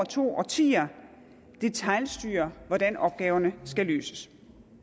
to årtier detailstyrer hvordan opgaverne skal løses